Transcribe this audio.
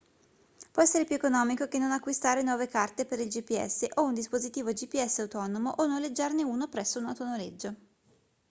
può essere più economico che non acquistare nuove carte per il gps o un dispositivo gps autonomo o noleggiarne uno presso un autonoleggio